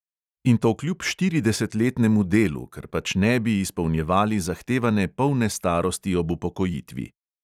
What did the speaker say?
In to kljub štiridesetletnemu delu, ker pač ne bi izpolnjevali zahtevane polne starosti ob upokojitvi.